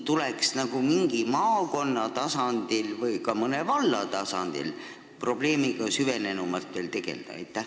Vahest tuleks mingis maakonnas või mõnes vallas probleemiga süvenenumalt tegelda?